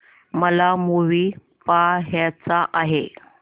मला मूवी पहायचा आहे